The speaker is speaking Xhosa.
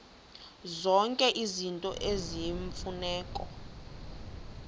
zonke izinto eziyimfuneko